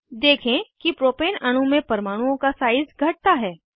देखें कि प्रोपेन अणु में परमाणुओं का साइज़ घटता है